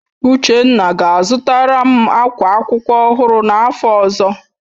Uchenna ga-azụtara m akwa akwụkwọ ọhụrụ n'afọ ọzọ